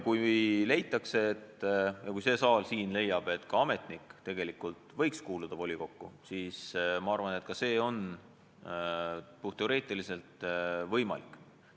Kui leitakse ja kui see saal siin leiab, et ka ametnik võiks kuuluda volikokku, siis ma arvan, et see on puhtteoreetiliselt võimalik.